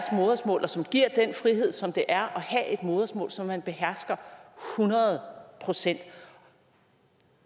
modersmål og som giver den frihed som det er at have et modersmål som man behersker hundrede procent